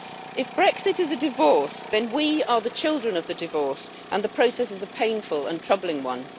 If Brexit is a divorce, then we are the children of the divorce and the process is a painful and troubling one.